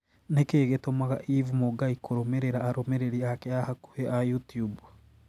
Nĩkĩĩ gĩtũmaga eve mũngai kũrũmĩrĩra arũmĩrĩri ake a hakuhi a YouTUBE